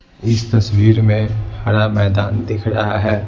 इस तस्वीर में हरा मैदान दिख रहा है।